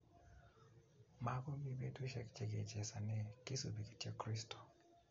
Makomii betusiek chekechesone kisubi kityo kristo